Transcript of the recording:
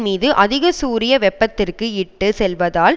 மீது அதிக சூரிய வெப்பத்திற்கு இட்டு செல்வதால்